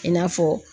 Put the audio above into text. I n'a fɔ